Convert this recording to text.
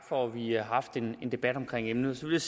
for at vi har haft en debat om emnet så vil